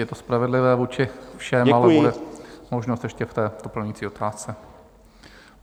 Je to spravedlivé vůči všem, ale bude možnost ještě v té doplňující otázce.